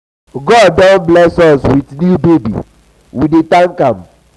um god don um bless us wit new um baby we dey tank am.